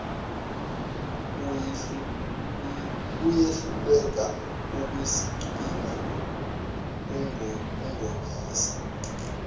uyehluleka ukusigcina ungobese